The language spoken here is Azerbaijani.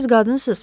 Axı siz qadınsız.